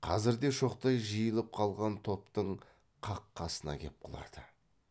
қазір де шоқтай жиылып қалған топтың қақ қасына кеп құлады